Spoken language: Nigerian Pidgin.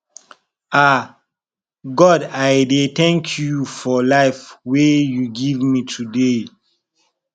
ah god i dey thank you for life wey you give me today